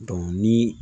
ni